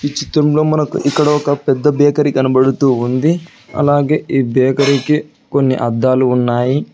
ఈ చిత్రంలో మనకి ఇక్కడ ఒక పెద్ద బేకరీ కనబడుతూ ఉంది అలాగే ఈ బేకరీ కి కొన్ని అద్దాలు ఉన్నాయి.